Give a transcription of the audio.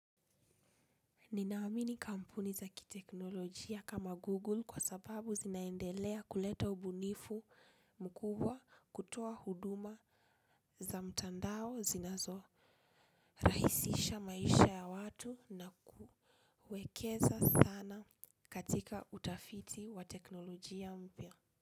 Nina amini kampuni za kiteknolojia kama Google kwa sababu zinaendelea kuleta ubunifu mkubwa kutoa huduma za mtandao zinazo rahisisha maisha ya watu na kuwekeza sana katika utafiti wa teknolojia mpya.